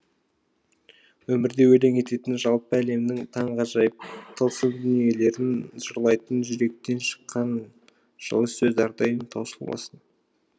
өмірді өлең ететін жалпы әлемнің таңғажайып тылсым дүниелерін жырлайтын жүректен шыққан жылы сөз әрдайым таусылмасын